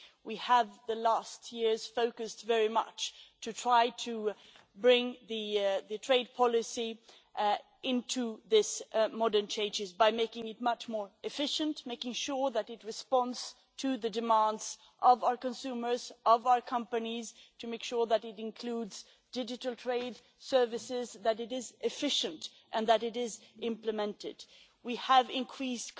We have in recent years focused very much on trying to bring trade policy into line with these changes age by making it much more efficient, making sure that it responds to the demands of our consumers, of our companies, and making sure that it includes digital trade services, that it is efficient and that it is implemented. We have increased